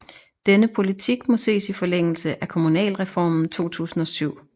Denne politik må ses i forlængelse af kommunalreformen 2007